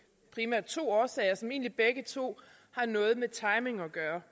to årsager som egentlig begge to har noget med timing at gøre